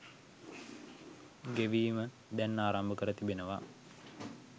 ගෙවීම දැන් ආරම්භ කර තිබෙනවා.